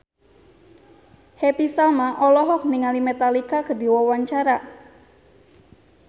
Happy Salma olohok ningali Metallica keur diwawancara